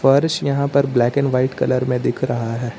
फर्श यहां पर ब्लैक एंड व्हाइट कलर में दिख रहा है।